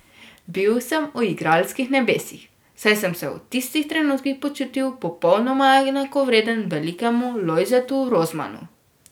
Bil sem v igralskih nebesih, saj sem se v tistih trenutkih počutil popolnoma enakovreden velikemu Lojzetu Rozmanu.